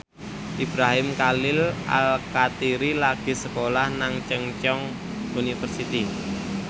Ibrahim Khalil Alkatiri lagi sekolah nang Chungceong University